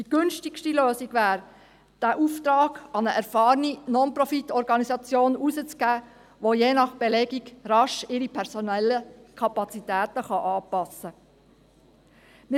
Die günstigste Lösung wäre, den Auftrag an eine erfahrene Non-Profit-Organisation zu vergeben, die ihre personellen Kapazitäten je nach Belegung rasch anpassen kann.